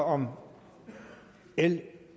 om l